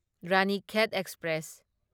Ranikhet express